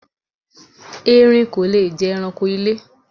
Erin kò le jé̩ eranko ilé.